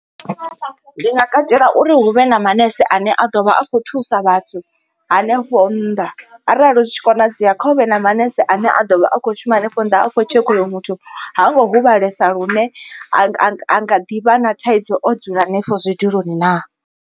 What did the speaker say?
Ndi nga katela uri hu vhe na manese ane a ḓovha a kho thusa vhathu hanefho nnḓa arali zwi tshi konadzea kha huvhe na manese ane a ḓovha a kho shuma henefho nnḓa a kho tshekha uri muthu ha ngo hu vhalesa lune a nga ḓi vha na thaidzo o dzula henefho zwiduloni naa.